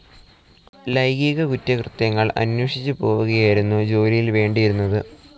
ലൈംഗികകുറ്റകൃത്യങ്ങൾ അന്വേഷിച്ചുപോവുകയായിരുന്നു ജോലിയിൽ വേണ്ടിയിരുന്നത്.